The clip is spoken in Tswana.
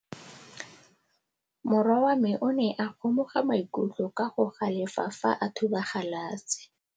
Morwa wa me o ne a kgomoga maikutlo ka go galefa fa a thuba galase.